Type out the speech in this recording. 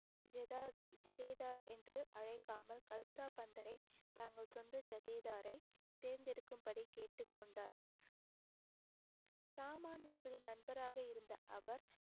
என்று அழைக்காமல் கல்சா பந்தரை தங்கள் சொந்த ஜதேதாரை தேர்ந்தெடுக்கும்படி கேட்டுக்கொண்டார் சாமானியர்களின் நண்பராக இருந்த அவர்